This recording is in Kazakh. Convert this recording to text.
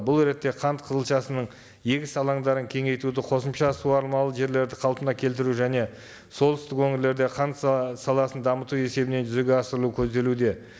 бұл ретте қант қызылшасының егіс алаңдарын кеңейтуді қосымша суармалы жерлерді қалпына келтіру және солтүстік өңірлерде қант саласын дамыту есебінен жүзеге асырылу көзделуде